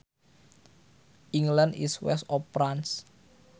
England is west of France